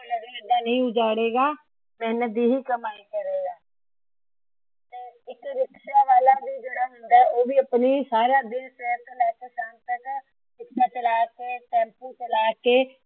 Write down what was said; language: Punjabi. ਹੁਣ ਏਦਾਂ ਨਹੀਂ ਉਜੜੇਗਾ। ਮੇਹਨਤ ਦੀ ਹੀ ਕਮਾਈ ਕਰੇਗਾ। ਇੱਕ ਰਿਕਸ਼ਾ ਵਾਲਾ ਵੀ ਜਿਹੜਾ ਹੁੰਦਾ ਆ ਉਹ ਵੀ ਸਾਰਾ ਦਿਨ ਆਪਣੀ ਰਿਕਸ਼ਾ ਚਲਾ ਤੇ ਟੈਮਪੁ ਚਲਾ ਕੇ